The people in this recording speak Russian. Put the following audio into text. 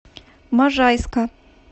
можайска